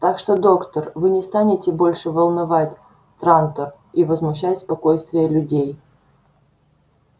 так что доктор вы не станете больше волновать трантор и возмущать спокойствие людей